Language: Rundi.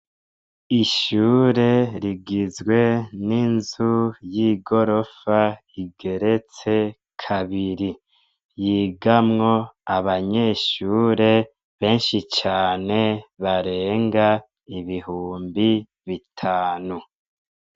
Ishure rigizwe n'inzu y'igorofa, rigeretse kabiri. Yigamwo abanyeshure benshi cane barenga ibihumbi bitanu.